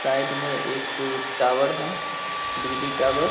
side में एक अ टावर है बिजली टावर --